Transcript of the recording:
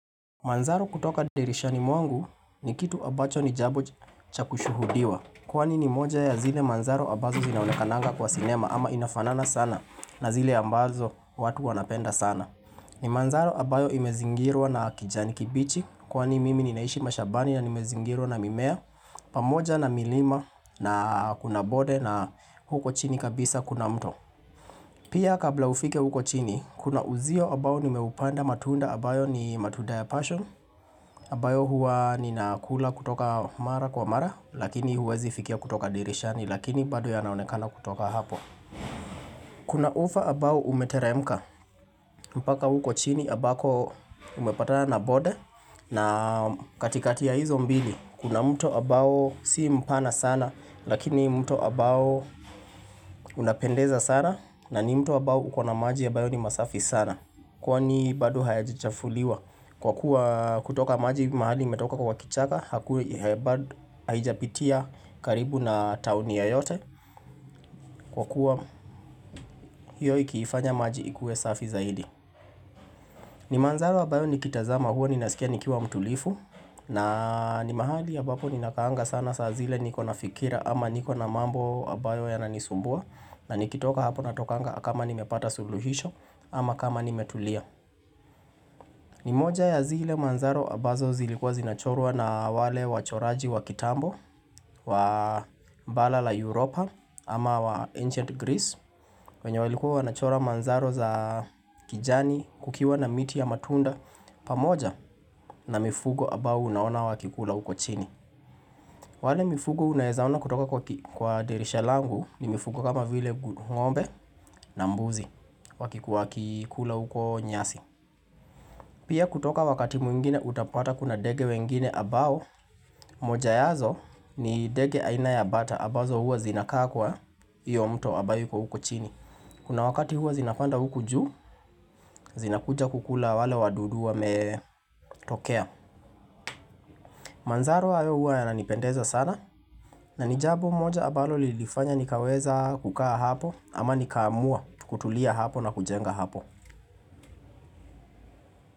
Manzaro kutoka dirishani mwangu ni kitu ambacho ni jambo cha kushuhudiwa Kwani ni moja ya zile manzaro ambazo zinaonekananga kwa sinema ama inafanana sana na zile ambazo watu wanapenda sana ni manzaro ambayo imezingirwa na kijani kibichi kwani mimi ninaishi mashambani na nimezingirwa na mimea pamoja na milima na kuna bonde na huko chini kabisa kuna mto Pia kabla ufike huko chini kuna uzio ambao nimeupanda matunda ambayo ni matunda ya passion ambayo huwa ninakula kutoka mara kwa mara Lakini huwezi fikia kutoka dirishani Lakini bado yanaonekana kutoka hapo Kuna ufa ambao umeteremka mpaka uko chini ambako umepatana na bonde na katikati ya hizo mbili Kuna mto ambao si mpana sana Lakini mto ambao unapendeza sana na ni mto ambao ukona maji ambayo ni masafi sana Kwani bado hayajachafuliwa Kwa kuwa kutoka maji mahali imetoka kwa kichaka Hakui bado haijapitia karibu na towni yoyote Kwa kuwa hiyo ikiifanya maji ikue safi zaidi ni manzaro ambayo nikitazama huwa ninasikia nikiwa mtulifu na ni mahali ya ambapo ninakaanga sana saa zile niko na fikira ama niko na mambo ambayo yananisumbua na nikitoka hapo natokanga kama nimepata suluhisho ama kama nimetulia ni moja ya zile manzaro ambazo zilikuwa zinachorwa na wale wachoraji wa kitambo wa bara la Europa ama wa Ancient Greece wenye walikuwa wanachora manzaro za kijani kukiwa na miti ya matunda pamoja na mifugo ambao unaona wakikula huko chini wale mifugo unaeza ona kutoka kwa dirisha langu ni mifugo kama vile ngombe na mbuzi wakikula huko nyasi pia kutoka wakati mwingine utapata kuna ndege wengine ambao moja yazo ni mdege aina ya bata ambazo huwa zinakaa kwa hiyo mto ambayo iko huko chini Kuna wakati huwa zinapanda huku juu zinakuja kukula wale wadudu wametokea Manzaro hayo huwa yananipendeza sana na ni jambo moja ambalo lilifanya nikaweza kukaa hapo ama nikaamua kutulia hapo na kujenga hapo.